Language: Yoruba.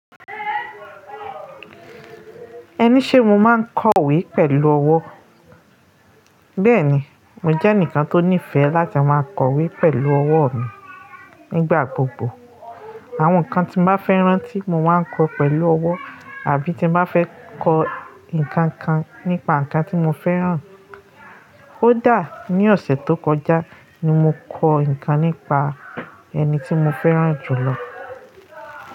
Ẹni ṣe mo máa ń kọ̀wé pẹ̀lú ọwọ́? Bẹ́ẹ̀ni, mo jẹ́ ẹnìkan tó nífẹ̀ẹ́ láti máa kọ̀wé pẹ̀lú ọwọ́ mi nígbà gbogbo. Àwọn nǹkan tí mo bá fẹ́ rántí, mo máa ń kọ pẹ̀lú ọwọ́, àbí tí mo bá fẹ́ kọ ǹkan kan nípa nǹkan tí mo fẹ́ ràn. Ko dà ní ọ̀sẹ̀ tó kọjá ni mo kọ ǹkan nípa ẹni tí mo fẹ́ ràn jù lọ.